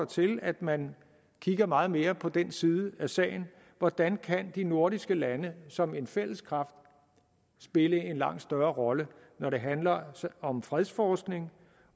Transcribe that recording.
til at man kigger meget mere på den her side af sagen hvordan kan de nordiske lande som en fælles kraft spille en langt større rolle når det handler om fredsforskning